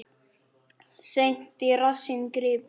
Seint í rassinn gripið.